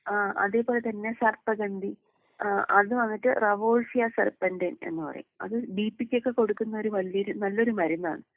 ആഹ് അതേ പോലെ തന്നെ സർപ്പഗന്തി ഏഹ് അത് വന്നിട്ട് റെവോസിയാ സർപ്പന്റൈൻ എന്ന് പറയും അത് ബി പ്പിക്കൊക്കെ കൊടുക്കുന്ന ഒരു വല്യൊരു നല്ലൊരു മരുന്നാണ്.